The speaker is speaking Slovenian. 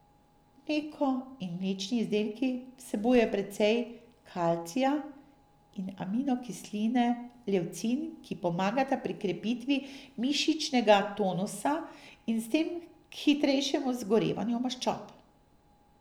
Mleko in mlečni izdelki vsebujejo precej kalcija in aminokisline levcin, ki pomagata pri krepitvi mišičnega tonusa in s tem k hitrejšemu zgorevanju maščob.